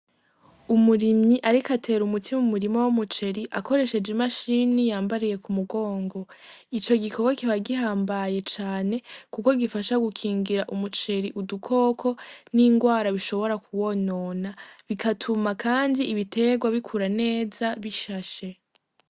Umurimyi ariko atera umuti mu murima w'umuceri akoresheje imashini yambariye ku mugongo, ico gikorwa kiba gihambaye cane kuko gifasha gukingira umuceri udukoko n'ingwara bishobora kuwonona bigatuma kandi ibiterwa bikura neza bishashe.